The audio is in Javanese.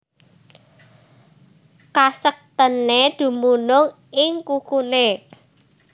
Kasektèné dumunung ing kukuné